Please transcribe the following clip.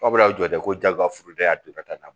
Aw bɛ a jɔ de ko jagoya furu dɛ